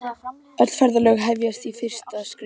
Öll ferðalög hefjast á fyrsta skrefinu.